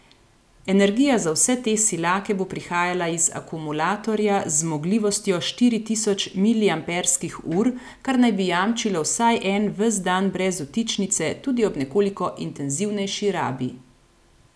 Energija za vse te silake bo prihajala iz akumulatorja z zmogljivostjo štiri tisoč miliamperskih ur, kar naj bi jamčilo vsaj en ves dan brez vtičnice tudi ob nekoliko intenzivnejši rabi.